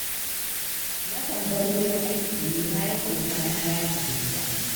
Nakan bar wurin aiki ne bayan ogana ya tafi gida.